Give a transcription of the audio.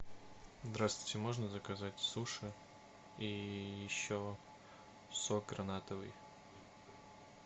здравствуйте можно заказать суши и еще сок гранатовый